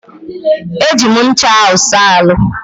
Eji m ncha ahụ saa ahụ́.